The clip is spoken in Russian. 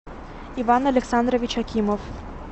иван александрович акимов